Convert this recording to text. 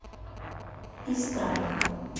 истра